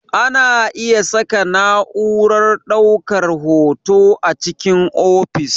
Ana iya saka na'urar ɗaukar hoto a cikin ofis